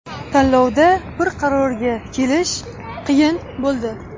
Tanlovda bir qarorga kelish qiyin bo‘ldi.